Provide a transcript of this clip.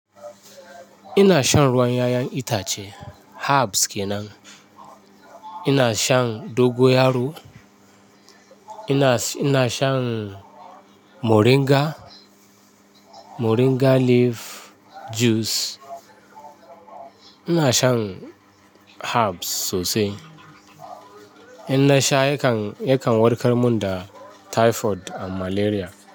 Ina shan ruwan 'ya'yan itace, herbs kenan. Ina shan dogoyaro, ina shan moringa, moringa leaf juice. Ina shan herbs sosai. In na sha yakan, yakan warkar mun da typhoid da malaria.